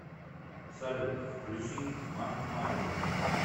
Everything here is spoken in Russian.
салют включи ма мариес